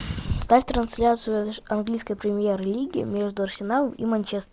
ставь трансляцию английской премьер лиги между арсеналом и манчестером